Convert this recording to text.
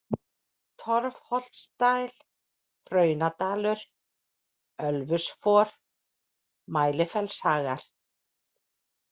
Torfholtsdæl, Hraunadalur, Ölfusfor, Mælifellshagar